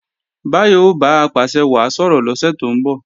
Báyọ̀ o bá Apàṣẹwàá sọ̀rọ̀ lọ́sẹ̀ tó ń bọ̀